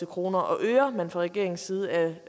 kroner og øre man fra regeringens side